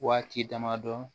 Waati dama dɔ